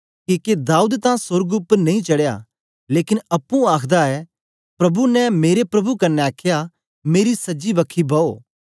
किके दाऊद तां सोर्ग उपर नेई चडया लेकन अप्पुं आखदा ऐ प्रभु ने मेरे प्रभु कन्ने आखया मेरी सज्जी बखी बौ